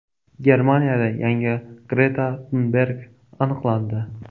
Germaniyada yangi Greta Tunberg aniqlandi.